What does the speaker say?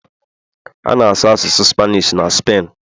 A na-asụ asụsụ Spanish na Spen